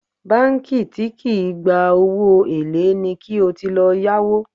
Báńkì tí kì í gba owó èlé ni kí o ti lọ yáwó